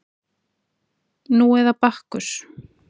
Nú eða Bakkus